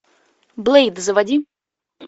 блэйд заводи